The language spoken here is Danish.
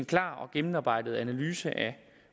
klar og gennemarbejdet analyse af